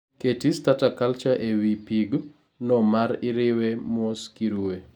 Keti starter culture e wi pig no ma iriwe mos kiruwe